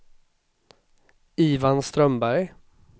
Ivan Strömberg